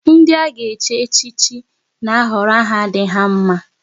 Ndị a ga-echi echichi na ahọrọ aha dị ha mma